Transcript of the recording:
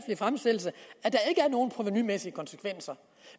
nogen provenumæssige konsekvenser